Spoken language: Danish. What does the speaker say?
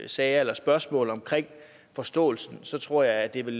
sager eller spørgsmål omkring forståelsen så tror jeg det vil